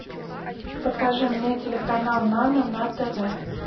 покажи мне телеканал нано на тв